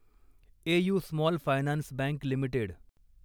AU small finance bank limited